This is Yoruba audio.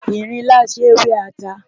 Ìrinlá ṣé wẹ́ ata.